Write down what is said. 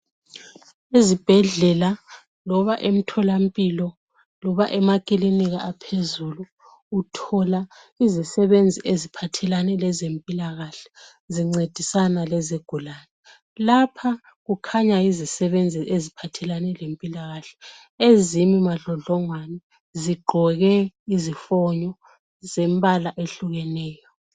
Ezibhedlela loba emtholampilo loba emakilinika aphezulu uthola izisebenzi eziphathelane lezempilakahle zincedisa izigulane. Lapha kukhanya yizisebenzi eziphathelane lempilakahle ezimi madlodlongwane zigqoke izifonyo zembala ehlukeneyo.